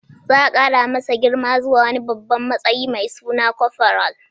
Za a kara masa girma zuwa wani babban matsayi mai suna corporal.